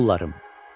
Oğullarım!